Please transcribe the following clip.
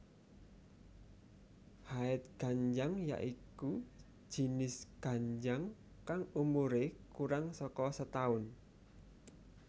Haetganjang ya iku jinis ganjang kang umure kurang saka setaun